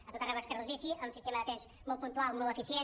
a tot arreu veus carrils bici amb un sistema de trens molt puntual molt eficient